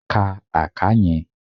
Ka àká yẹn!